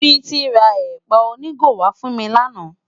Titi rá èpá ónigó wá fún mi làná